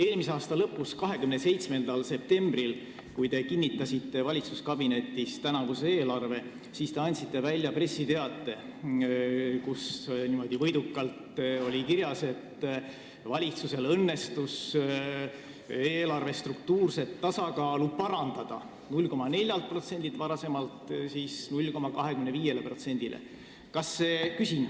Eelmise aasta lõpus, 27. septembril, kui te kinnitasite valitsuskabinetis tänavuse eelarve, te andsite välja pressiteate, kus oli niimoodi võidukalt kirjas, et valitsusel õnnestus eelarve struktuurset tasakaalu parandada varasemalt 0,4%-lt 0,25%-le.